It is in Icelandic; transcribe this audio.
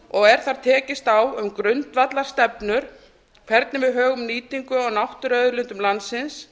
og er þar tekist á um grundvallarstefnur hvernig við högum nýtingu á náttúruauðlindum landsins